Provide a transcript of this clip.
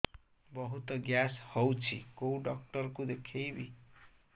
ବହୁତ ଗ୍ୟାସ ହଉଛି କୋଉ ଡକ୍ଟର କୁ ଦେଖେଇବି